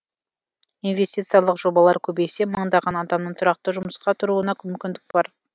инвестициялық жобалар көбейсе мыңдаған адамның тұрақты жұмысқа тұруына мүмкіндік бар